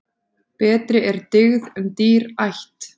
Betri er dyggð en dýr ætt.